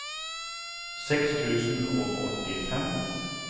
seks tusen og åttifem